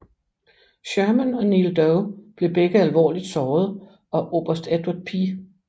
Sherman og Neal Dow blev begge alvorligt såret og oberst Edward P